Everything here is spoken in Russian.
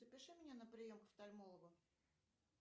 запиши меня на прием к офтальмологу